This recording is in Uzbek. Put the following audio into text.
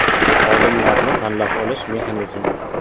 Xodimlarni tanlab olish mexanizmi.